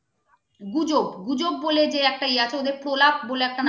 গুজব গুজব বলে যে একটা ইয়া আছে ওদের পোলাপ বলে একটা